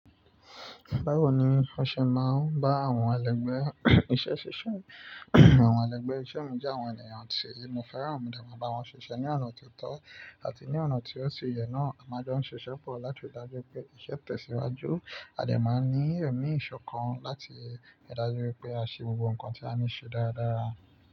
Báwo ni wọ́n ṣe máa ń bá àwọn ẹlẹgbẹ́ iṣẹ́ ṣíṣe? Àwọn ẹlẹgbẹ́ iṣẹ́ mú já àwọn ènìyàn tí inú féràn modee ma bá wọn ṣiṣẹ́ ní ọ̀nà tó tọ́ àti ní ọ̀nà tí ó ṣe yẹ náà. A máa jo ṣiṣẹ́ pọ̀ láti dájú pé iṣẹ́ tẹ̀síwájú, a dè máa ní ẹ̀mí ìṣọ̀kan láti ri dájú pé a ṣe gbogbo nǹkan tí a ní ṣe dáradára.